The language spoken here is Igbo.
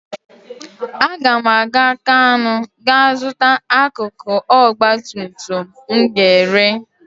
Aga m aga Kanú gaa zụta akụkụ ọgbatumtum m ga-ere.